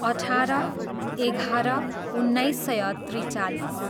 अठार, एघार, उन्नाइस सय त्रिचालिस